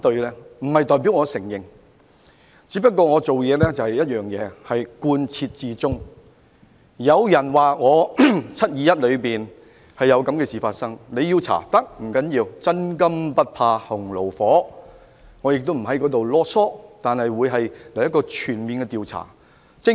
這並不代表我承認，只是我的處事原則是要貫徹始終，有人指責我在"七二一"事件中有他們所說的事情發生，要調查我是可以的，不要緊，因為真金不怕洪爐火，我亦不會囉唆，但我要求進行一個全面調查。